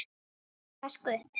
Vaska upp?